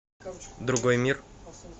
другой мир